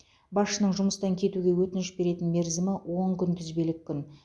басшының жұмыстан кетуге өтініш беретін мерзімі он күнтізбелік күн